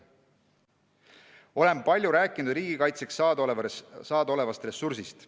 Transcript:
Olen palju rääkinud riigikaitseks saada olevast ressursist.